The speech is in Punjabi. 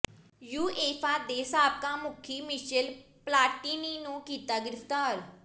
ਯੂਏਫਾ ਦੇ ਸਾਬਕਾ ਮੁਖੀ ਮਿਸ਼ੇਲ ਪਲਾਟੀਨੀ ਨੂੰ ਕੀਤਾ ਗਿ੍ਫ਼ਤਾਰ